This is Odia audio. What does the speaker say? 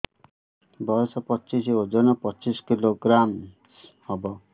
ବୟସ ପଚିଶ ବର୍ଷ ଓଜନ ପଚିଶ କିଲୋଗ୍ରାମସ ହବ